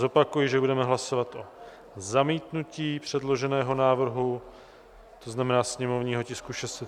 Zopakuji, že budeme hlasovat o zamítnutí předloženého návrhu, to znamená sněmovního tisku 638, v prvém čtení.